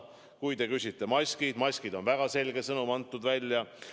Kui te küsite maskide kohta, siis maskide osas on väga selge sõnum välja antud.